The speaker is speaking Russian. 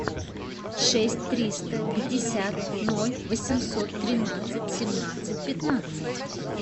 шесть триста пятьдесят ноль восемьсот тринадцать семнадцать пятнадцать